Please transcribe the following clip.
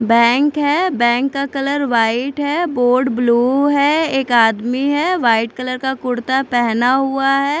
Bank है bank का colour white है बोर्ड ब्लू है एक आदमी है वाइट कलर का कुर्ता पहना हुआ है।